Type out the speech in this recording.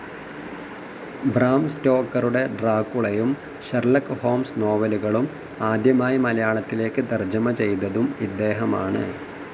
Bram സ്റ്റോക്കറുടെ ഡ്രാക്കുളയും, Sherlock Holmes നോവലുകളും ആദ്യമായി മലയാളത്തിലേക്ക് തർജ്ജമ ചെയ്തതും ഇദ്ദേഹമാണ്.